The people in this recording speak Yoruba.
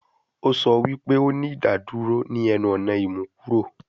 O sọ wi pe o ni idaduro ni ẹnu-ọna imukuro